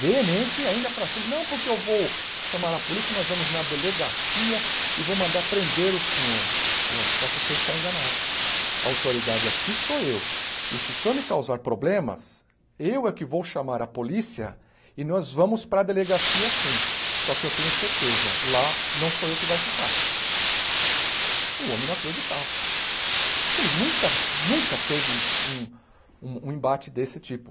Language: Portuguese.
veemente ainda para cima, não porque eu vou chamar a polícia, nós vamos na delegacia e vou mandar prender o senhor só que o senhor está enganado a autoridade aqui sou eu e se o senhor me causar problemas eu é que vou chamar a polícia e nós vamos para delegacia sim só que eu tenho certeza, lá não sou eu que vai ficar o homem não acreditava acho que ele nunca, nunca teve um um um embate desse tipo